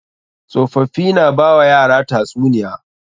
Tsofaffii na ba wa yara tatsuniya.